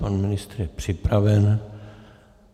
Pan ministr je připraven.